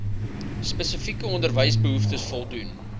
spesifieke onderwysbehoeftes voldoen